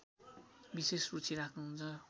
विशेष रुचि राख्‍नुहुन्छ